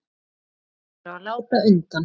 Þeir eru að láta undan.